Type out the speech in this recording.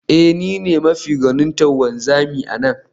Ee, ni ne mafi gwanintar wanzami a nan